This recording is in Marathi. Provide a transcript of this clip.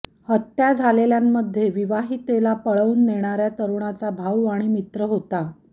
हत्या झालेल्यांमध्ये विवाहितेला पळवून नेणाऱ्या तरुणाचा भाऊ आणि मित्र होता